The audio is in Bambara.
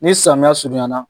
Ni samiyɛ surunyana